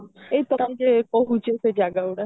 ଏଇ ପଟରେ ରହୁଛି ସେ ଜାଗା ଗୁଡା